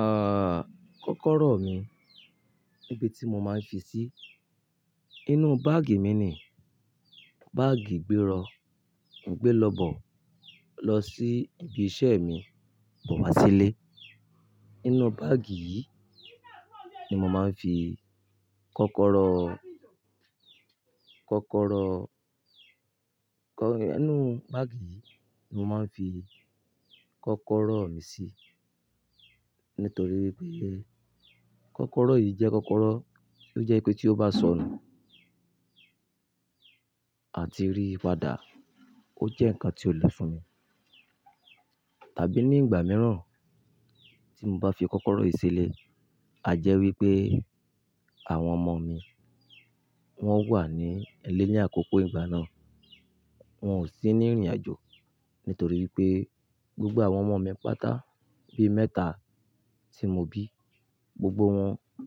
Ah, kọ́kọ́rọ́ mi, ibi tí mo máa ń fi sí, inú báàgì mi ni. Báàgì ìgbérò, ìgbé lọ́bọ̀ lọ sí ibi iṣẹ́ mi, bọ̀ wá sílé. Inú báàgì yìí ni mo máa ń fi kọ́kọ́rọ́, kọ́kọ́rọ́, kọ́-- inú báàgì yìí ni mo máa ń fi kọ́kọ́rọ́ mi sí. Nítorí pé kọ́kọ́rọ́ yìí jẹ́ kọ́kọ́rọ́ tí ó jẹ́ pé tí ó bá sọnù àti rì padà, ó jẹ́ nǹkan tí ó le fún mi. Tàbí ní ìgbà mìíràn tí mo bá fi kọ́kọ́rọ́ yìí sílé, a jẹ́ wí pé àwọn ọmọ mi, wọ́n wà ní eléyà àkókò ìgbà náà, wọn ò sí ní ìrìnàjò. Nítorí pé gbogbo àwọn ọmọ mi pátá, bí mẹ́ta tí mo bí, gbogbo wọn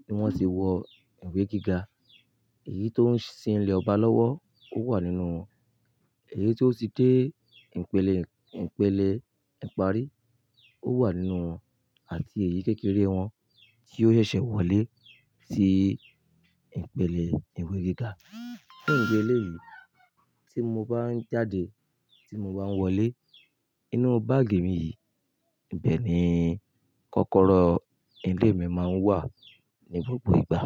ni wọ́n ti wọ ìwé gíga. Èyí tó ń sinle ọba lọ́wọ́, ó wà nínú wọn. Èyí tó ti dé ìpele, ìpele ìparí, ó wà nínú wọn. Àti èyí kékeré wọn tí ó ṣẹ̀ṣẹ̀ wọlé sí ìpele ìwé gíga. Fun idi eléyìí tí mo bá ń jáde, tí mo bá ń wọlé, inú báàgì mi yìí, ibẹ̀ ni kọ́kọ́rọ́ ilé mi máa ń wà ní gbogbo ìgbà.